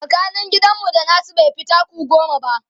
tsakanin gidan mu da nasu baifi taku goma ba